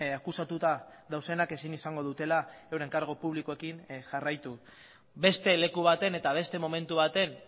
akusatuta daudenak ezin izango dutela euren kargu publikoekin jarraitu beste leku baten eta beste momentu baten